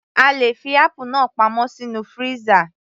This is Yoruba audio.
A lè fi apple náà pamọ́ sínú freezer